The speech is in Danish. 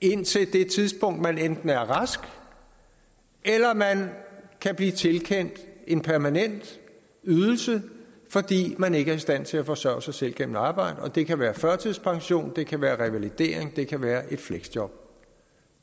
indtil tidspunkt man enten er rask eller man kan blive tilkendt en permanent ydelse fordi man ikke er i stand til at forsørge sig selv gennem arbejde det kan være førtidspension det kan være revalidering det kan være et fleksjob